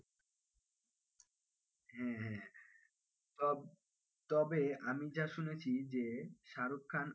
হ্যাঁ হ্যাঁ তবে আমি যা শুনেছি যে শাহরুখ খান,